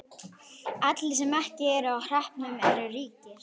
Allir sem ekki eru á hreppnum eru ríkir.